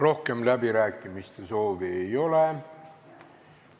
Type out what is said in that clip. Rohkem läbirääkimiste soovi ei ole.